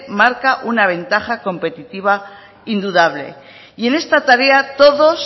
marca una ventaja competitiva indudable y en esta tarea todos